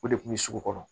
O de kun bɛ sugu kɔnɔ